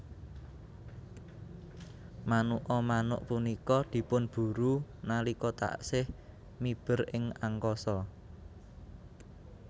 Manuka manuk punika dipunburu nalika taksih miber ing angkasa